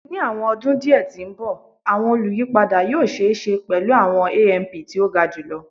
Ni awọn ọdun diẹ ti n bọ awọn oluyipada yoo ṣee ṣe pẹlu awọn AMP ti o ga julọ